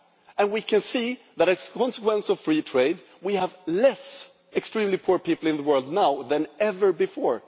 And we can see that, as a consequence of free trade, we have fewer extremely poor people in the world now than ever before.